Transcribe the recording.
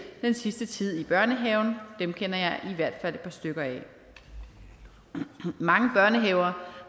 den sidste tid i børnehaven dem kender jeg i hvert fald et par stykker af mange børnehaver